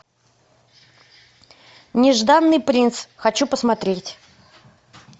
нежданный принц хочу посмотреть